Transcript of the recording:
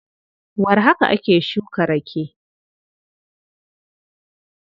Warhaka ake shuka rake.